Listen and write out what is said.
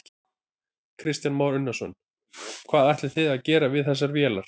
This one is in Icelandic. Kristján Már Unnarsson: Hvað ætlið þið að gera við þessar vélar?